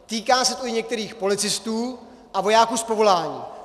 Týká se to i některých policistů a vojáků z povolání.